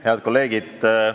Head kolleegid!